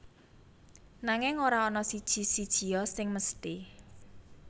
Nanging ora ana siji sijia sing mesthi